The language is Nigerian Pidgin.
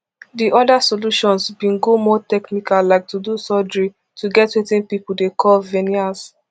di oda solutions bin go more technical like to do surgery to get wetin pipo dey call veneers